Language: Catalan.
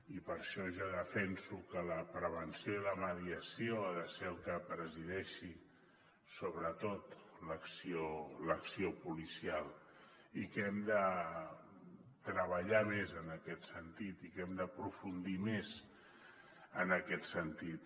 i per això jo defenso que la prevenció i la mediació han de ser les que presideixin sobretot l’acció policial i que hem de treballar més en aquest sentit i que hem d’aprofundir més en aquest sentit